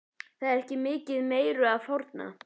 Það er ekki mikið meiru að fórna.